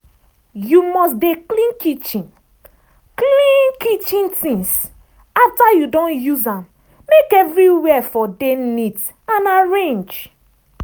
you must dey clean kitchen clean kitchen things after you don use am make everywhere for dey neat and arrange.